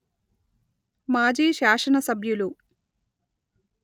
మాజీ శాసన సభ్యులు